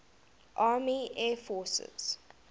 army air forces